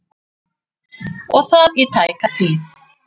Og það í tæka tíð.